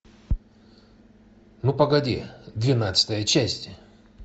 ну погоди двенадцатая часть